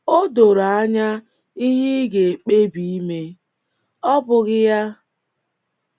O doro anya ihe ị ga - ekpebi ime, ọ́ bụghị ya?